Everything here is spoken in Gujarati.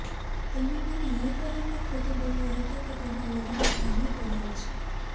તેણે મને એ કહીને ખોટુ બોલ્યો હતો કે તેના લગ્ન ભાંગી પડ્યા છે